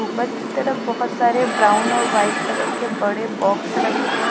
ऊपर की तरफ बहुत सारे ब्राउन और वाइट कलर के बड़े बॉक्स रखे हैं।